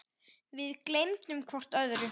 Við gleymum hvort öðru.